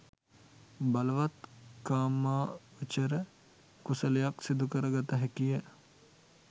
බලවත් කාමාවචර කුසලයක් සිදු කර ගත හැකිය.